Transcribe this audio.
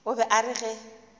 o be a re ge